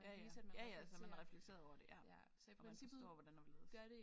Ja ja ja ja altså man har reflekteret over det ja og man forstår hvordan og hvorledes